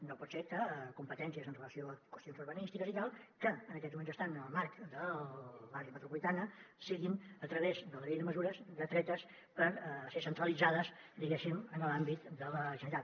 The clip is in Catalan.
no pot ser que competències amb relació a qüestions urbanístiques i tal que en aquests moments estan en el marc de l’àrea metropolitana siguin a través de la llei de mesures detretes per ser centralitzades diguéssim en l’àmbit de la generalitat